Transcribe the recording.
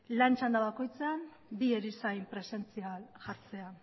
lan txanda bakoitzean bi erizain presentzia jartzea